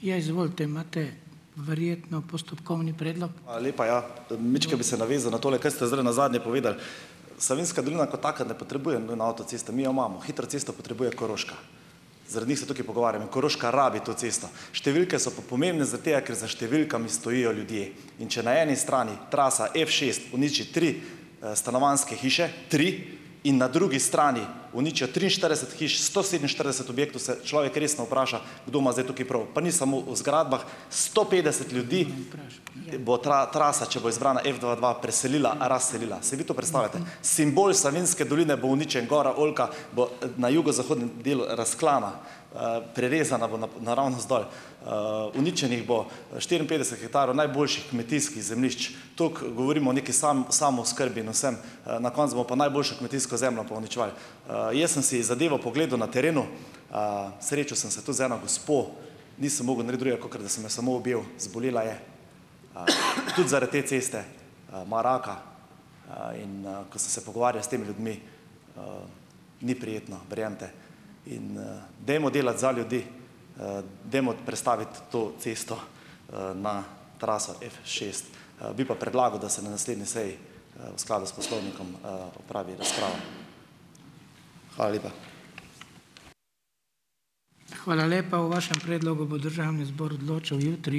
Hvala lepa, ja. Majčkeno bi se navezal na tole, kaj ste zdajle nazadnje povedali. Savinjska dolina kot taka ne potrebuje avtoceste, mi jo imamo. Hitro cesto potrebuje Koroška. Zaradi njih se tukaj pogovarjamo. Koroška rabi to cesto. Številke so pa pomembne zaradi tega, ker za številkami stojijo ljudje. In če na eni strani trasa V šest uniči tri stanovanjske hiše, tri, in na drugi strani uničijo triinštirideset hiš, sto sedeminštirideset objektov, se človek resno vpraša, kdo ima zdaj tukaj prav. Pa ni samo v zgradbah. Sto petdeset ljudi bo trasa, če bo izbrana V dva dva, preselila, razselila. Si vi to predstavljate? Simbol Savinjske doline bo uničenje. Gora Oljka bo na jugozahodnem delu razklana, prerezana bo naravnost dol. Uničenih bo štiriinpetdeset hektarov najboljših kmetijskih zemljišč. Tako govorimo o nekaj samooskrbi in vsem, na koncu bomo pa najboljšo kmetijsko zemljo pa uničevali. Jaz sem si zadevo pogledal na terenu. Srečal sem se tudi z eno gospo. Nisem mogel narediti drugega, kot da sem jo samo objel, zbolela je, tudi zaradi te ceste, ima raka. In ko sem se pogovarjal s temi ljudmi, ni prijetno, verjemite. In dajmo delati za ljudi, dajmo prestaviti to cesto na traso V šest. Bi pa predlagal, da se na naslednji seji v skladu s Poslovnikom opravi razprava. Hvala lepa.